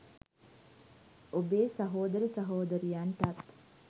ඔබේ සහෝදර සහෝදරියන්ටත්